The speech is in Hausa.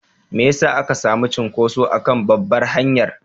Me ya sa aka sami cunkuso a kan babbar hanyar?